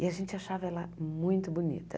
E a gente achava ela muito bonita.